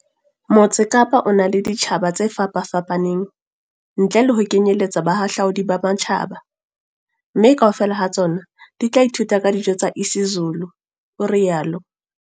Motse Kapa o na le ditjhaba tse fapafapaneng, ntle le ho kenyeletsa bahahlaudi ba matjhaba, mme kaofela ha tsona di tla ithuta ka dijo tsa isiZulu, o rialo